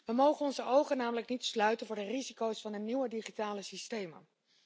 We mogen onze ogen namelijk niet sluiten voor de risico's van de nieuwe digitale systemen.